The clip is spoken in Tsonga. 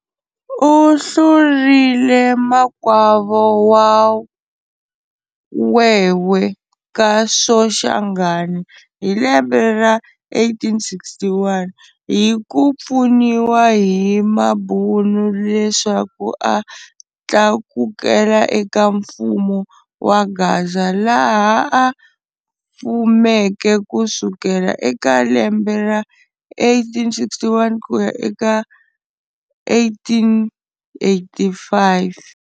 Uhlurile makwavo Mawewe ka Soshangane hilembe ra 1861 hi kupfuniwa hi mabhunu leswaku a tlakukela eka mfumo wa Gaza laha a fumeke kusukela eka lembe ra 1861 kuya eka 1885.